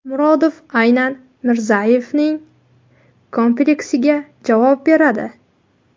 Murodov aynan Mirzayevning kompleksiga javob beradi.